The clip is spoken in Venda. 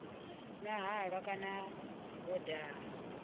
nwa halwa kana vho daha